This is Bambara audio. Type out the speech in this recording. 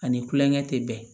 Ani kulonkɛ tɛ bɛn